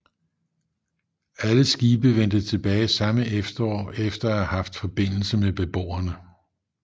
Alle skibe vendte tilbage samme efterår efter at have haft forbindelse med beboerne